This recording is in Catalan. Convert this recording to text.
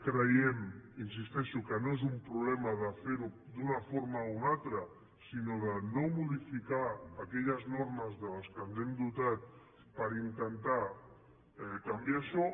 creiem hi insisteixo que no és un problema de fer ho d’una forma o una altra sinó de no modificar aquelles normes de les quals ens hem dotat per intentar canviar això